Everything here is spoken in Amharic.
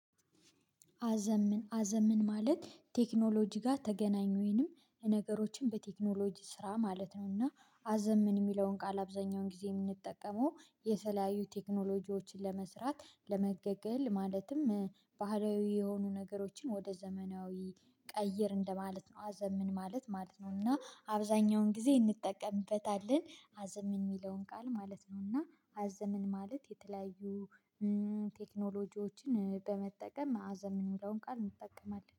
አዘምን አዘምን ማለት ቴክኖሎጂ ጋር ተገናኙንም ነገሮችን በቴክኖሎጂ ስራ ማለት ነው እና አዘምን የሚለውን ቃል አብዛኛውን ጊዜ የምንጠቀመው የተለያዩ ቴክኖሎጂዎችን ለመስራት ለመገልገል ማለትም ባህላያዊ የሆኑ ነገሮችን ወደ ዘመናዊ ቀይር እንደማለት ነው። አዘምን ማለት ነው እና አብዛኛውን ጊዜ እንጠቀምበታለን። አዘምን የሚለውን ቃል ማለት ነው። እና አዘምን ማለት የተለያዩ ቴክኖሎጂዎችን በመጠቀም አዘምን የሚለውን ቃል ይጠቀማል